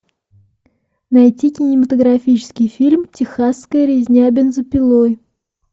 найти кинематографический фильм техасская резня бензопилой